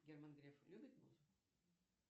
герман греф любит музыку